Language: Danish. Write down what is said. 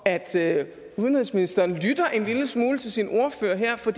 at udenrigsministeren lytter en lille smule til sin ordfører her for